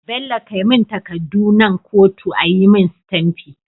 Bello kai mun takadun nan kotu ayi mun sitamfi